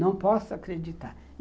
Não posso acreditar.